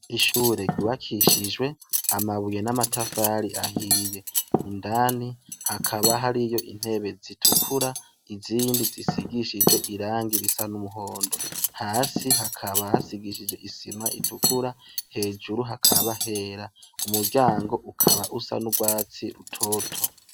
Ishure ryubakishije amabuye n'amatafari ahiye. Indani hakaba hariyo intebe zitukura, izindi zisigishijwe irangi risa n'umuhondo. Hasi hakaba hasigishije isima itukura, hejuru hakaba hera. Umuryango ukaba usa n'urwatsi rutoto.